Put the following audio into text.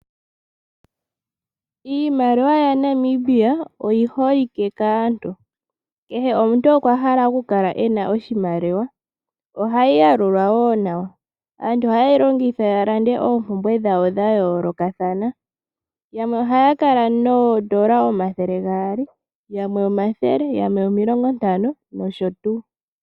Iimaliwa ya Namibia oyi holike kaantu. Kehe omuntu okwa hala oku kala ena oshimaliwa. Ohayi yalulwa woo nawa. Aantu ohaye yi longitha ya kandulepo oompumbwe dhawo dha yoolokathana. Yamwe ohaya kala noodola omathele gaali, yamwe ethele, yamwe omilongo ntano nosho tuu.